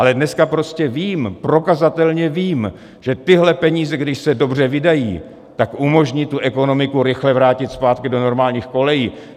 Ale dneska prostě vím, prokazatelně vím, že tyhle peníze, když se dobře vydají, tak umožní tu ekonomiku rychle vrátit zpátky do normálních kolejí.